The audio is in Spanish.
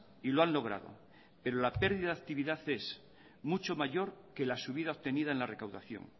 y lo han logrado pero la pérdida de la actividad es mucho mayor que la subida obtenida en la recaudación